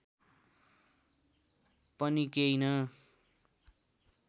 पनि केही न